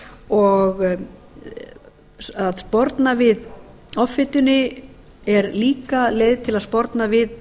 og að sporna við offitunni er líka leið til að sporna við